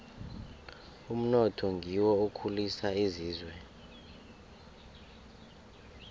umnotho ngiwo okhulisa isizwe